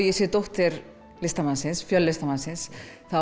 ég sé dóttir listamannsins listamannsins